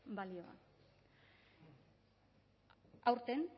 balioa aurten